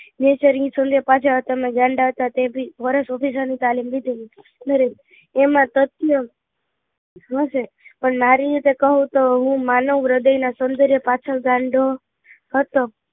પાછળ તમે ગાંડા હતા તે બી વર્ષ ની તાલીમ લીધી હતી નરેન એમાં તત્વં શું છે પણ મારી રીતે કહું તો હું માનવ હૃદય ના સોંદર્ય પાછળ ગાંડો હતો